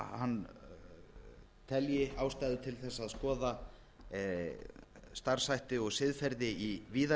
hann telji ástæðu til þess að skoða starfshætti og siðferði í víðari